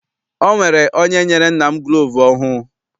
Ọ nwere onye nyere nna m gulovu ọhụụ.